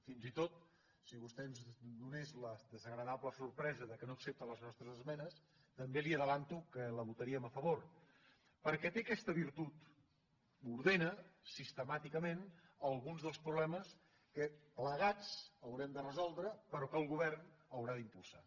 fins i tot si vostè ens donés la desagradable sorpresa que no accepta les nostres esmenes també li avanço que hi votaríem a favor perquè té aquesta virtut ordena sistemàticament alguns dels problemes que plegats haurem de resoldre però que el govern haurà d’impulsar